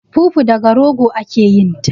Fufu daga rogo ake yin ta